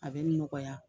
A bɛ nɔgɔya